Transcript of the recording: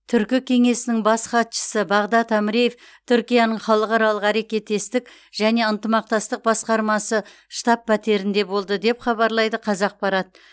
түркі кеңесінің бас хатшысы бағдад әміреев түркияның халықаралық әрекеттестік және ынтымақтастық басқармасы штаб пәтерінде болды деп хабарлайды қазақпарат